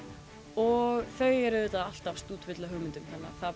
og þau eru auðvitað alltaf stútfull af hugmyndum þannig